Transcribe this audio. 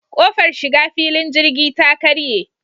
Ƙofar shiga filin jirgi ta karye.